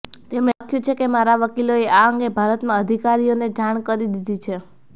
તેમણે લખ્યું છે કે મારા વકીલોએ આ અંગે ભારતમાં અધિકારીઓને જાણ કરી દીધી છે